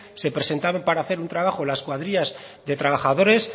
se presentaban para hacer un trabajo las cuadrillas de trabajadores